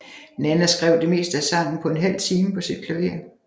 Nanna skrev det meste af sangen på en halv time på sit klaver